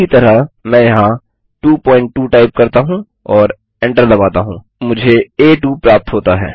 उसी तरह मैं यहाँ 22 टाइप करता हूँ और एंटर दबाता हूँ मुझे आ2 प्राप्त होता है